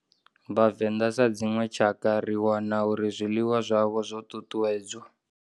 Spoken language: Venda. Vhavenda sa dzinwe tshakha ri wana uri zwiḽiwa zwavho zwo ṱuṱuwedzwa.